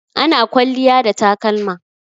Ana kwalliya da takalma.